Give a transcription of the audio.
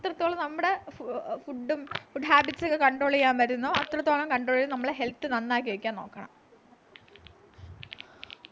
എത്രത്തോളം നമ്മുടെ ആഹ് food food habits ഒക്കെ control ചെയ്യാൻ പറ്റുന്നോ അത്രത്തോളം control ചെയ്ത് നമ്മൾ health നന്നാക്കി വയ്ക്കാൻ നോക്കണം